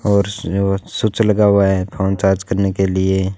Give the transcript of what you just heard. और स्विच लगा हुआ है फोन चार्ज करने के लिए।